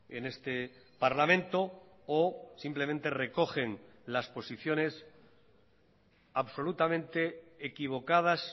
en este parlamento o simplemente recogen las posiciones absolutamente equivocadas